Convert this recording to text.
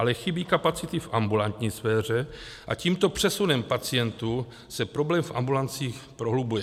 Ale chybí kapacity v ambulantní sféře a tímto přesunem pacientů se problém v ambulancích prohlubuje.